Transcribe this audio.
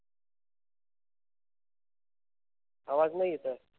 आवाज नाही येत आहे.